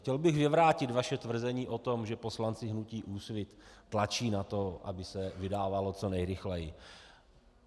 Chtěl bych vyvrátit vaše tvrzení o tom, že poslanci hnutí Úsvit tlačí na to, aby se vydávalo co nejrychleji.